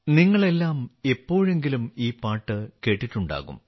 നിങ്ങളെല്ലാം എപ്പോഴെങ്കിലും ഈ പാട്ട് കേട്ടിട്ടുണ്ടാകും